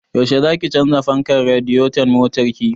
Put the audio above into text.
Yaushe zaki canza fankar radiyeton motar ki?